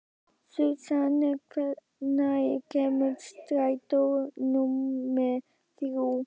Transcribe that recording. Susan, hvenær kemur strætó númer þrjú?